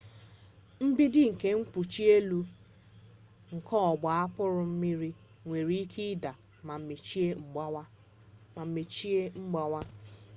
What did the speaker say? mgbidi na mkpuchi elu nke ọgba akpụrụ mmiri nwere ike ịda ma mechie mgbawa